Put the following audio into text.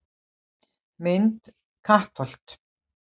Mynd: Kattholt